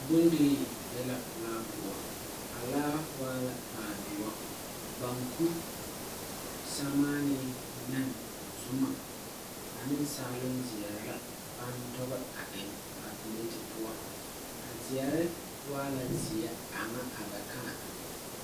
Bondirii be la laa pou a laa waa la laa duu banku, samaani, nen, zuma ane saalong zeɛre la bang dugi a en a pelete pou a zeɛre waa la zie anga abɛ kãã.